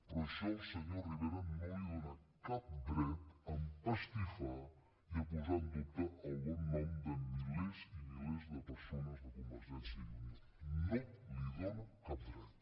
però això al senyor rivera no li dóna cap dret a empastifar ni a posar en dubte el bon nom de milers i milers de persones de convergència i unió no li dóna cap dret